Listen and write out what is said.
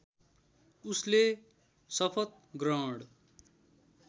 उसले शपथ ग्रहण